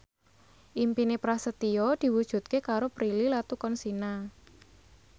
impine Prasetyo diwujudke karo Prilly Latuconsina